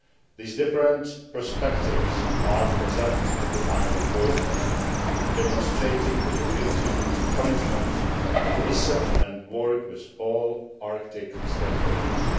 The various perspectives are present in the final report, demonstrating the European Union's commitment to listen to, and work with, all Arctic stakeholders.